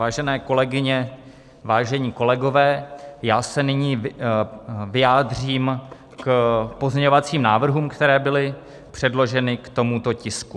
Vážené kolegyně, vážení kolegové, já se nyní vyjádřím k pozměňovacím návrhům, které byly předloženy k tomuto tisku.